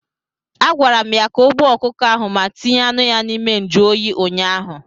A gwara m ya ka o gbuo ọkụkọ ahụ ma tinye anụ ya n'ime njụ oyi ụnyaahụ!